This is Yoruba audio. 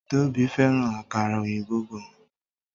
Tóbi fẹ́ràn àkàrà òyìnbó gan.